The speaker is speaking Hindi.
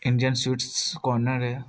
इंडियन स्वीट्स कार्नर है।